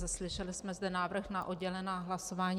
Slyšeli jsme zde návrh na oddělená hlasování.